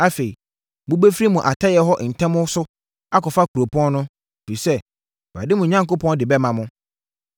Afei mobɛfiri mo atɛeɛ hɔ ntɛm so akɔfa kuropɔn no, ɛfiri sɛ, Awurade, mo Onyankopɔn de bɛma mo.